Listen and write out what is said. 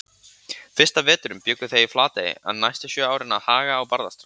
Fyrsta veturinn bjuggu þau í Flatey en næstu sjö árin að Haga á Barðaströnd.